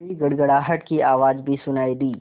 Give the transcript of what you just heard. तभी गड़गड़ाहट की आवाज़ भी सुनाई दी